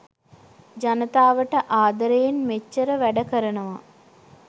ජනතාවට ආදරයෙන් මෙච්චර වැඩ කරනවා